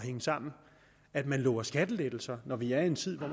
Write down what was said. hænge sammen at man lover skattelettelser når vi er i en tid hvor